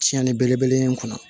Tiɲɛni belebele in kɔnɔ